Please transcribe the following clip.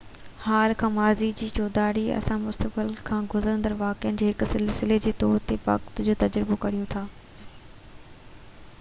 حال کان ماضي جي چوڌاري اسان مسقتبل کان گذرندڙ واقعن جي هڪ سلسلي جي طور تي وقت جو تجربو ڪريون ٿا